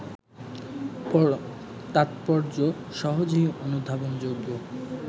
তাৎপর্য সহজেই অনুধাবনযোগ্য